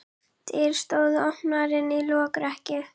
Dyr stóðu opnar inn í lokrekkju.